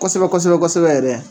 Kosɛbɛ kosɛbɛ kosɛbɛ yɛrɛ